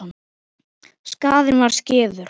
Skaðinn var skeður.